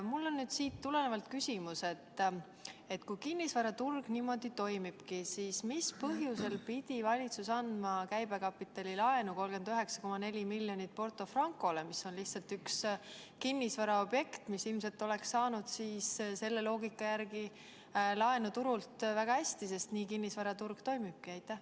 Mul on siit tulenevalt küsimus: kui kinnisvaraturg niimoodi toimibki, siis mis põhjusel pidi valitsus andma käibekapitalilaenu 39,4 miljonit Porto Francole, mis on lihtsalt üks kinnisvaraobjekt, mis ilmselt oleks saanud selle loogika järgi laenu turult väga hästi, sest nii kinnisvaraturg toimibki?